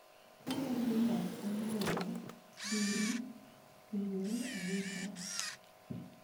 Ka wadhi ma olowa Rurii, owinjore agwe tao.